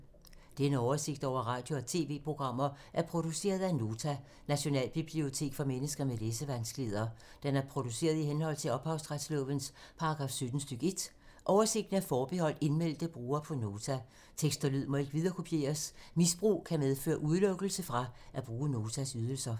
Denne oversigt over radio og TV-programmer er produceret af Nota, Nationalbibliotek for mennesker med læsevanskeligheder. Den er produceret i henhold til ophavsretslovens paragraf 17 stk. 1. Oversigten er forbeholdt indmeldte brugere på Nota. Tekst og lyd må ikke viderekopieres. Misbrug kan medføre udelukkelse fra at bruge Notas ydelser.